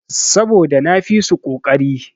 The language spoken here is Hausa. Saboda na fisu koƙari.